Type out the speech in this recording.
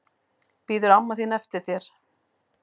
Bíður amma þín eftir þér?